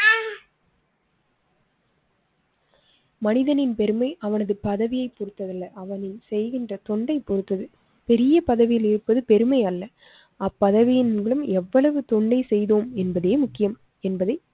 மனிதனின் பெருமை அவனது பதவியைப் பொறுத்தது அல்ல. அவன் செய்கின்ற தொண்டைப் பொறுத்தது பெரிய பதவியில் இருப்பது பெருமை அல்ல. அப்பதவியின் மூலம் எவ்வளவு தொண்டை செய்தோம் என்பதே முக்கிம் என்பதை